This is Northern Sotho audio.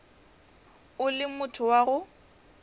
o le motho wa go